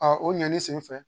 o ɲani sen fɛ